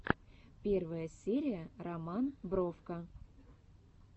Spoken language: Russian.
первая серия роман бровко